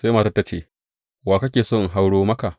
Sai matar ta ce, Wa kake so in hauro maka?